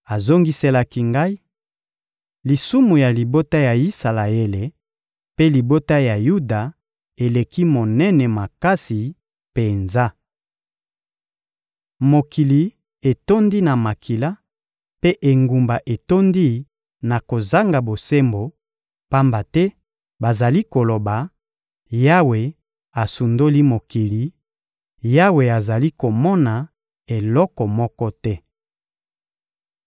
Azongiselaki ngai: — Lisumu ya libota ya Isalaele mpe libota ya Yuda eleki monene makasi penza. Mokili etondi na makila, mpe engumba etondi na kozanga bosembo; pamba te bazali koloba: «Yawe asundoli mokili; Yawe azali komona eloko moko te.»